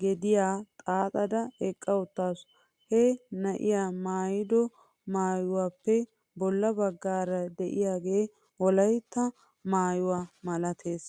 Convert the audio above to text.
gediyaa xaaxada eqqawttasu. He na maayido maayuwaappe bolla bagaara de'iyaagee wolaytta maayuwaa malates.